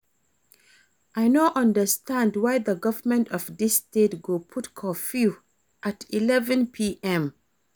I know understand why the government of dis state go put curfew at 11pm